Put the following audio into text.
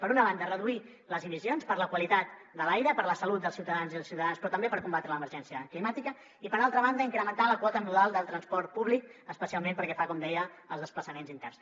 per una banda reduir les emissions per la qualitat de l’aire per la salut dels ciutadans i les ciutadanes però també per combatre l’emergència climàtica i per altra banda incrementar la quota modal del transport públic especialment pel que fa com deia als desplaçaments interns